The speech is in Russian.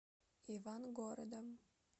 ивангородом